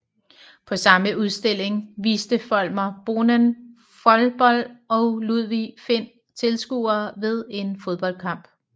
På samme udstilling viste Folmer Bonnén Folbold og Ludvig Find Tilskuere ved en fodboldkamp